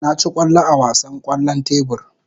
Na ci kwallo a wasan kwallon tebur.